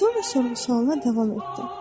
Sonra soruşdu, sualına davam etdi.